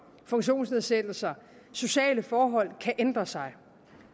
funktionsnedsættelse og sociale forhold kan ændre sig